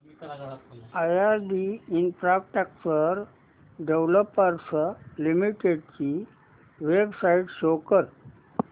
IRB infrastructure developers limited ची website show करा